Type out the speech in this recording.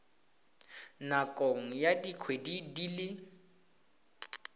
nakong ya dikgwedi di le